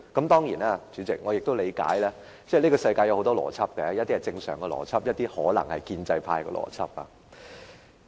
當然，主席，我也理解，這個世界有很多種邏輯，有些是正常的邏輯，有些可能是建制派的邏輯。